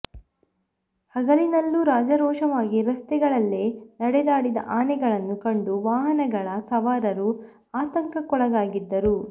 ಹಗಲಿನಲ್ಲೂ ರಾಜಾರೋಷವಾಗಿ ರಸ್ತೆಗಳಲ್ಲೇ ನಡೆದಾಡಿದ ಆನೆಗಳನ್ನು ಕಂಡು ವಾಹನಗಳ ಸವಾರರೂ ಆತಂಕಕ್ಕೊಳಗಾಗಿದ್ದರು